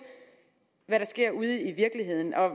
hvad der sker ude i virkeligheden